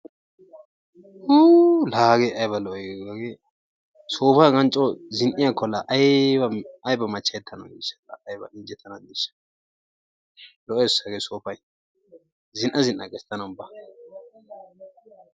Uu laa hagee ayba lo''ii? soopan hagan laa coo zin''iyaakko laa ayba machchayetanawu de'ii? laa ayba injjetana diishsha, lo''ees hagee soopay zin''a zin''a gees tana ubba.